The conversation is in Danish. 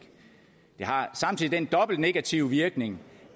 det har samtidig den negative virkning